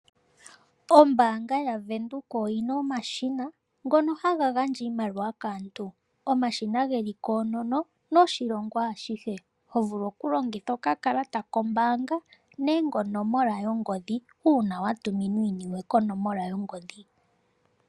Ombaanga yaVenduka oyina omashina ngono haga gandja iimaliwa kaantu. Omashina geli koonono noshilongo ashihe, ho vulu oku longitha okakalata kombaanga nenge onomola yongodhi, uuna wa tuminwa iiniwe konomola yongodhi.